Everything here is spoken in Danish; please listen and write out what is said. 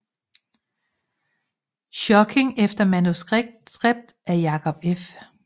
Schokking efter manuskript af Jacob F